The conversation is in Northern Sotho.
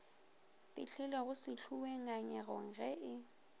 fihlilego sehloweng ngangegong ge e